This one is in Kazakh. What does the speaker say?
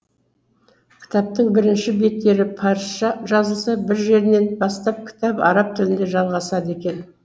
кітаптың бірінші беттері парысша жазылса бір жерінен бастап кітап араб тілінде жалғасады екен